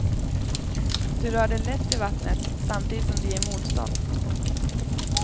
Du rör dig lätt i vattnet samtidigt som det ger motstånd.